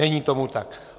Není tomu tak.